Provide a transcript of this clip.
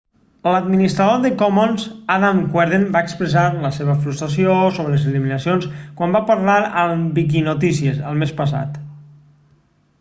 l'administrador de commons adam cuerden va expressar la seva frustració sobre les eliminacions quan va parlar amb viquinotícies el mes passat